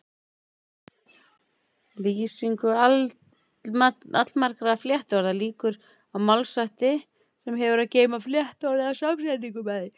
Lýsingu allmargra flettiorða lýkur á málshætti sem hefur að geyma flettiorðið eða samsetningu með því.